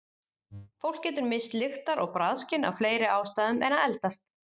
Fólk getur misst lyktar- og bragðskyn af fleiri ástæðum en að eldast.